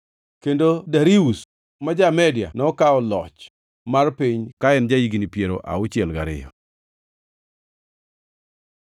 kendo Darius ja-Media nokawo loch mar piny ka en ja-higni piero auchiel gariyo.